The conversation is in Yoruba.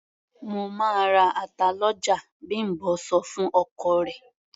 "Mo máa ra ata lọ́jà", Bím̀bọ́ sọ fún ọkọ rẹ̀.